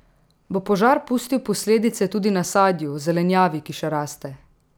Bo požar pustil posledice tudi na sadju, zelenjavi, ki še raste?